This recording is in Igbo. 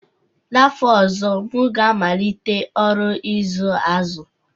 N'afọ ọzọ, m ga-amalite ọrụ ịzụ azụ